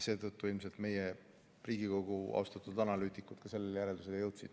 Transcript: Seetõttu ilmselt Riigikogu austatud analüütikud sellele järeldusele jõudsidki.